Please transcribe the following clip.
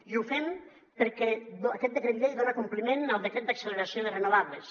i ho fem perquè aquest decret llei dona compliment al decret d’acceleració de renovables